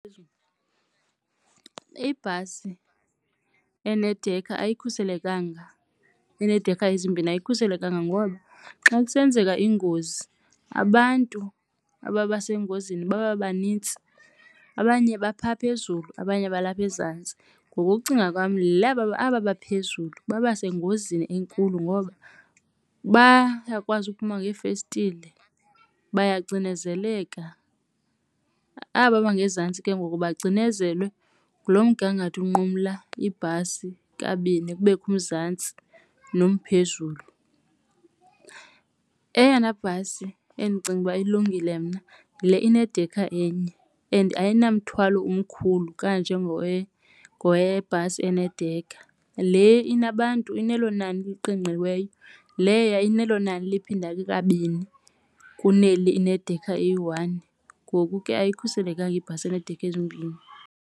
Ibhasi enedekha ayikhuselekanga enedekha ezimbini ayikhuselekanga ngoba xa kusenzeka ingozi abantu ababasengozini baba banintsi. Abanye baphaa phezulu, abanye balapha ezantsi. Ngokokucinga kwam aba baphezulu baba sengozini enkulu ngoba bayakwazi ukuphuma ngeefestile bayacinezeleka. Aba bangezantsi ke ngoku bacinezelwe ngulo mgangatho unqumla ibhasi kabini kubekho umzantsi nomphezulu. Eyona bhasi endicinga uba ilungile mna yile inedekha enye and ayinamithwalo umkhulu kanjengowe ngowebhasi eneedekha. Le inabantu inelo nani eliqingqiweyo leya inelo nani liphindeke kabini kuneli inedekha eyi-one. Ngoku ke ayikhuselekanga ibhasi eneedekha ezimbini.